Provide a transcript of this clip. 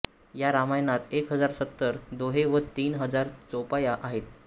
या रामायणात एक हजार सत्तर दोहे व तीन हजार चौपाया आहेत